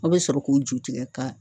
Aw bɛ sɔrɔ k'u ju tigɛ ka